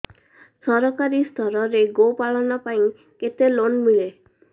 ସରକାରୀ ସ୍ତରରେ ଗୋ ପାଳନ ପାଇଁ କେତେ ଲୋନ୍ ମିଳେ